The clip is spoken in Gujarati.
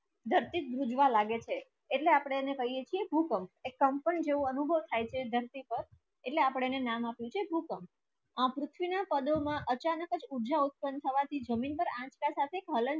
ધરતી વૃજવા લાગે છે ઍટલે આપડે એને કહીએ કે ભૂકંપ એ કંપન જેવી જેવુ અનુભવ થાય છે ધરતી પર ઍટલે આપડે એને નામ આવે છે ભૂકંપ આ પૃથ્વી ના પદોમાં અચાનક આજ ઊઝા ઉત્પન થવાથી જમીન પર આજ